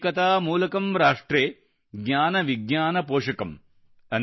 ಏಕತಾ ಮೂಲಕಮ್ರಾಷ್ಟ್ರೇ ಜ್ಞಾನ ವಿಜ್ಞಾನ ಪೋಷಕಮ್